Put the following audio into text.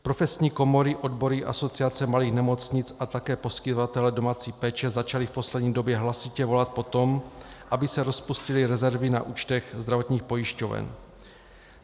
Profesní komory, odbory, Asociace malých nemocnic a také poskytovatelé domácí péče začali v poslední době hlasitě volat po tom, aby se rozpustily rezervy na účtech zdravotních pojišťoven.